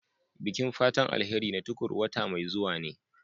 Bikin fatan alheri na Tukur wata mai zuwa ne.